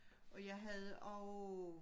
Og jeg havde og